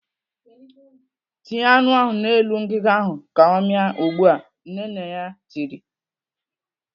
"Tinye anụ ahụ n'elu ngiga ahụ ka ọ mịa ugbu a!" Nne nne ya tiri.